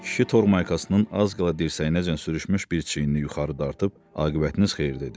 Kişi tormaykasının az qala dirsəyinəcən sürüşmüş bir çiynini yuxarı dartıb aqibətiniz xeyir dedi.